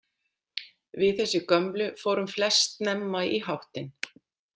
Við þessi gömlu fórum flest snemma í háttinn.